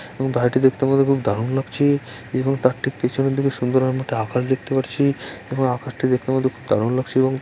এবং ভারিটি দেখতে দেখতে মতো দারুণ লাগছে এবং তার ঠিক পেছনের দিকে সুন্দর আকাশ দেখতে পারছি এবং আকাশটা দেখে খুব দারুণ লাগছেএবং--